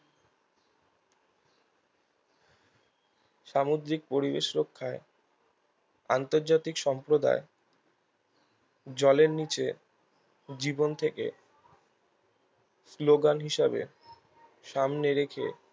সামুদ্রিক পরিবেশ রক্ষায় আন্তর্জাতিক সম্প্রদায় জলের নিচে জীবন থেকে slogan হিসেবে সামনে রেখে